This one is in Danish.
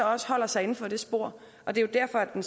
også holder sig inden for det spor det er derfor den